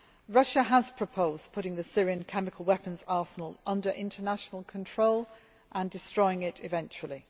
Russia has proposed putting the Syrian chemical weapons arsenal under international control and destroying it eventually.